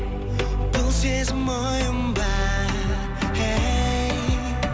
бұл сезім ойын ба хей